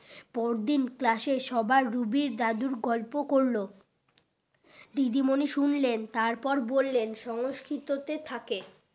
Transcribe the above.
পরদিন class এ সবার রুবির দাদুর গল্প করলো দিদিমনি শুনলেন তার পর বললেন সংস্কৃততে থাকে